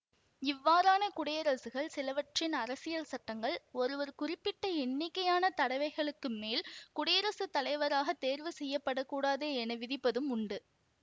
இவ்வாறான குடியரசுகள் சிலவற்றின் அரசியல் சட்டங்கள் ஒருவர் குறிப்பிட்ட எண்ணிக்கையான தடவைகளுக்கு மேல் குடியரசு தலைவராக தேர்வு செய்யப்படக்கூடாது என விதிப்பதும் உண்டு